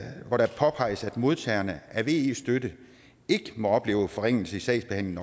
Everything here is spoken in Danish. modtagerne af ve støtte ikke må opleve forringelse i sagsbehandlingen